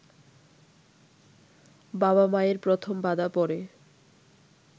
বাবা-মায়ের প্রথম বাধা পরে